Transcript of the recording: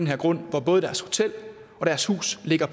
her grund hvor både deres hotel og deres hus ligger